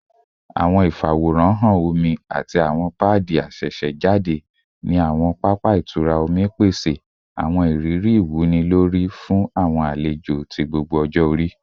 Awọn ifaworanhan omi ati awọn paadi asesejade ni awọn papa itura omi pese awọn iriri iwunilori fun awọn alejo ti gbogbo ọjọ-ori